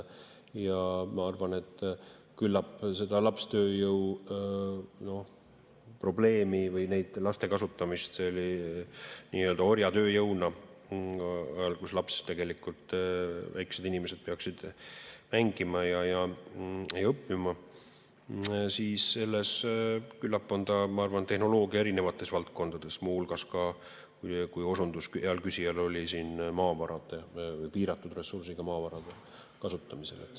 Ma arvan, et küllap seda lapstööjõuprobleemi või laste kasutamist nii-öelda orjatööjõuna ajal, kui laps, väike inimene peaks mängima ja õppima, on tehnoloogia erinevates valdkondades, muu hulgas ka, nagu hea küsija osutas siin, piiratud ressursiga maavarade.